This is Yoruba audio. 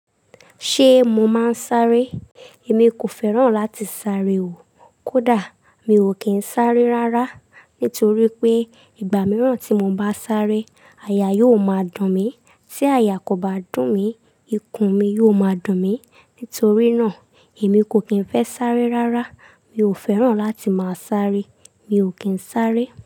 Ṣé mo máa ń sáré? Èmi kò fẹ́ràn láti sáré o. Kódà mi ò kí ń sáré rárá. Nítorí pé ìgbà mìíràn tí mo bá sáré, àyà yóò máa dùn mí. Tí àyà kò bá dùn mí, ikùn mi yóò máa dùn mí. Nítorí náà, èmi kò kín fẹ́ sáré rárá. Mi ò fẹ́ràn láti máa sáré. Mi ò kín sáré.